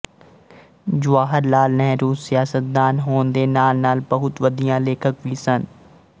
ਜਵਾਹਰ ਲਾਲ ਨਹਿਰੂ ਸਿਆਸਤਦਾਨ ਹੋਣ ਦੇ ਨਾਲਨਾਲ ਬਹੁਤ ਵਧੀਆ ਲੇਖਕ ਵੀ ਸਨ